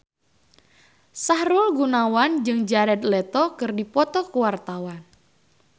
Sahrul Gunawan jeung Jared Leto keur dipoto ku wartawan